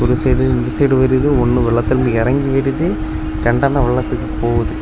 ஒரு சைடு இந்த சைடு வருது ஒன்னு வெள்ளத்துல எறங்கி வருது ரெண்டுணா வெள்ளத்துக்கு போகுது.